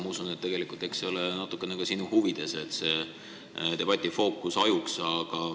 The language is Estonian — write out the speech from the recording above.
Ma usun, et see on natukene ka sinu huvides, et debati fookus hajuks.